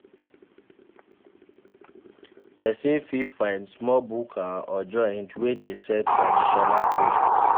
Person fit find small bukka or joint wey dey sell traditional food